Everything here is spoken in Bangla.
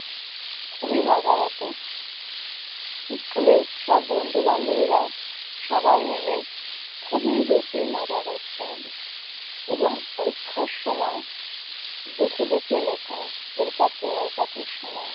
খুবই মজা হতো। স্কুলে সব বন্ধু-বান্ধবীরা সবাই মিলে খুবই হইচই মজা করতাম এবং পরীক্ষার সময় দেখে দেখে লেখা, এর কাছে ওর কাছে শোনা ।